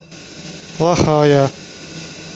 плохая